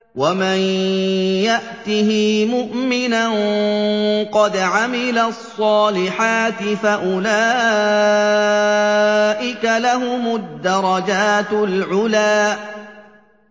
وَمَن يَأْتِهِ مُؤْمِنًا قَدْ عَمِلَ الصَّالِحَاتِ فَأُولَٰئِكَ لَهُمُ الدَّرَجَاتُ الْعُلَىٰ